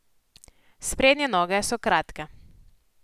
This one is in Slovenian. Sprednje noge so kratke.